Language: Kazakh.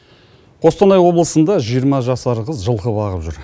қостанай облысында жиырма жасар қыз жылқы бағып жүр